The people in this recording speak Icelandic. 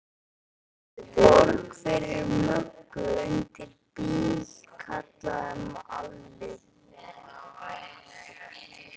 Borg fyrir Möggu undir bíl, kallaði Alli.